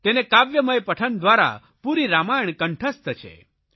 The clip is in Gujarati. તેને કાવ્યમય પઠન દ્વારા પૂરી રામાયણ કંઠસ્થ છે